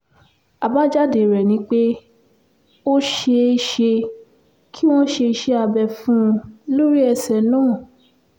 àbájáde rẹ̀ ni pé ó ṣeé ṣe kí wọ́n ṣe iṣẹ́ abẹ fún un lórí ẹsẹ náà